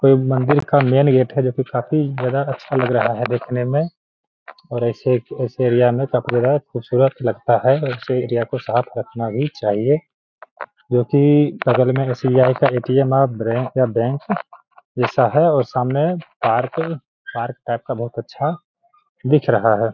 कोई मंदिर का मेन गेट है जो काफ़ी ज्यादा अच्छा लग रहा है देखने में और ऐसे इस एरिया में काफ़ी ज्यादा खूबसूरत लगता है और इस एरिया को साफ़ रखना भी चाहिए जो कि बग़ल में एस.बी.आई. का ए.टी.एम. और ब्रै का बैंक का जैसा है और सामने पार्क पार्क टाइप का बहुत अच्छा दिख रहा है ।